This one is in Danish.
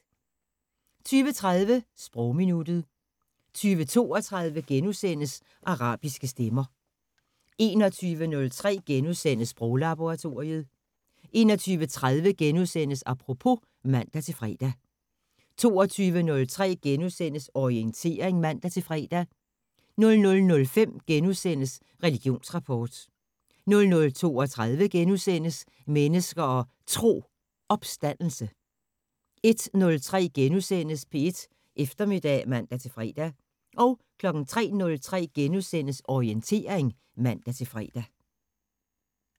20:30: Sprogminuttet 20:32: Arabiske stemmer * 21:03: Sproglaboratoriet * 21:30: Apropos *(man-fre) 22:03: Orientering *(man-fre) 00:05: Religionsrapport * 00:32: Mennesker og Tro: Opstandelse * 01:03: P1 Eftermiddag *(man-fre) 03:03: Orientering *(man-fre)